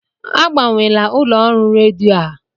Agbanwela ụlọ ọrụ redio a!